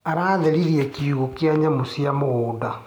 Aratheririe kiugũ kia nyamũ cia mũgũnda.